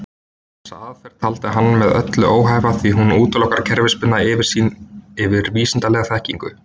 Þessa aðferð taldi hann með öllu óhæfa því hún útilokar kerfisbundna yfirsýn yfir vísindalega þekkingu.